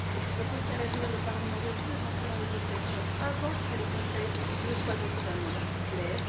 Je propose qu'à l'avenir, le Parlement refuse d'entrer en négociation avant que le Conseil ne soit doté d'un mandat clair.